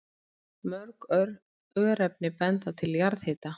Mörg örnefni benda til jarðhita.